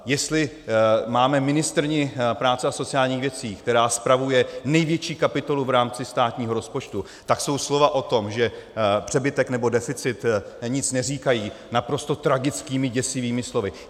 Jestli máme ministryni práce a sociálních věcí, která spravuje největší kapitolu v rámci státního rozpočtu, tak jsou slova o tom, že přebytek nebo deficit nic neříkají, naprosto tragickými, děsivými slovy.